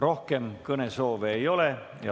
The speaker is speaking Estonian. Rohkem kõnesoove ei ole.